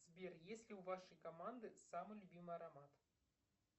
сбер есть ли у вашей команды самый любимый аромат